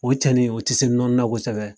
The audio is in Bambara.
O cɛnin o ti se nɔni na kosɛbɛ